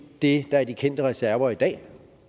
det der er de kendte reserver i dag